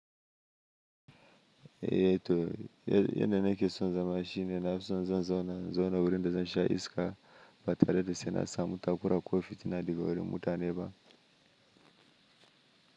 Yan da nake son zama shi ne na fi son zan zauna, in zauna gurin da zansha iska ba tareda sena samu takora ko fitina daga wurin mutane ba.